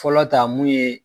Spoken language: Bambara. Fɔlɔ ta mun ye